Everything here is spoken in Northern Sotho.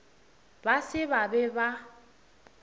ba se ba be ba